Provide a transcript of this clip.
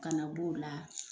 Kana b'o la